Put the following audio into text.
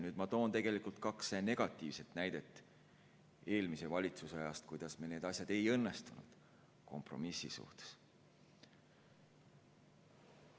Nüüd ma toon kaks negatiivset näidet eelmise valitsuse ajast, kuidas meil need asjad kompromissi suhtes ei õnnestunud.